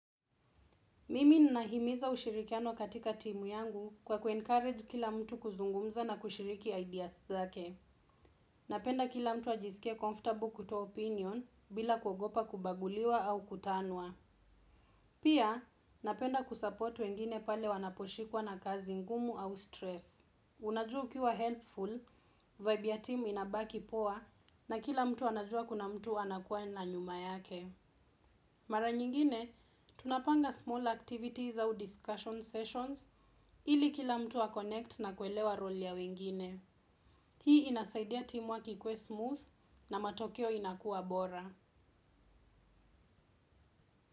Mimi ninahimiza ushirikiano katika timu yangu kwa kuencourage kila mtu kuzungumza na kushiriki ideas zake. Napenda kila mtu ajisikie comfortable kutoa opinion bila kugopa kubaguliwa au kutaniwa. Pia, napenda kusupport wengine pale wanaposhikwa na kazi ngumu au stress. Unajua ukiwa helpful, vibe ya timu inabaki poa, na kila mtu anajua kuna mtu anakuwa na nyuma yake. Mara nyingine, tunapanga small activities au discussion sessions ili kila mtu wa connect na kuelewa role ya wengine. Hii inasaidia timu work ikuwe smooth na matokeo inakuwa bora.